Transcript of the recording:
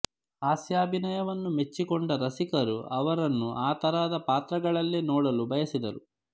ಹಾಸ್ಯಾಭಿನಯವನ್ನು ಮೆಚ್ಚಿಕೊಂಡ ರಸಿಕರು ಅವರನ್ನು ಆ ತರಹದ ಪಾತ್ರಗಳಲ್ಲೇ ನೋಡಲು ಬಯಸಿದರು